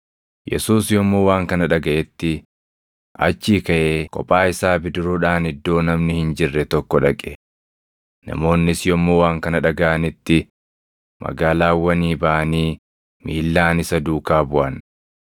Yesuus yommuu waan kana dhagaʼetti achii kaʼee kophaa isaa bidiruudhaan iddoo namni hin jirre tokko dhaqe. Namoonnis yommuu waan kana dhagaʼanitti magaalaawwanii baʼanii miillaan isa duukaa buʼan.